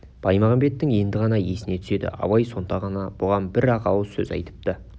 баймағамбеттің енді ғана есіне түседі абай сонда ғана бұған бір-ақ ауыз сөз айтыпты